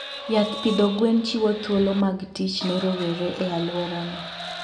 Yath pidho gwen chiwo thuolo mag tich ne rowere e alworano.